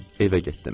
Evə getdim.